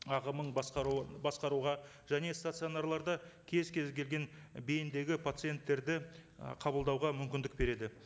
ағымын басқаруы басқаруға және стационарларда кез келген бейімдегі пациенттерді ы қабылдауға мүмкіндік береді